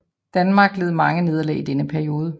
Danmark led mange nederlag i denne periode